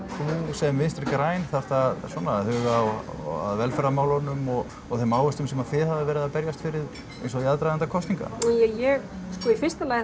sem Vinstri græn þarft að svona huga að velferðarmálunum og þeim áherslum sem þið hafið verið að berjast fyrir eins og í aðdraganda kosninga ja ég sko í fyrsta lagi